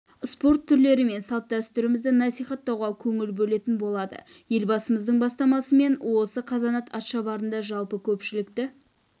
спорт түрлері мен салт-дәстүрлерімізді насихаттауға көңіл бөлетін болады елбасымыздың бастамасымен осы қазанат атшабарында жалпы көпшілікті